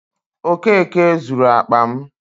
Okeke zuru akpa m.